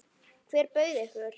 Hver bauð ykkur?